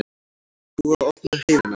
Búið að opna heiðina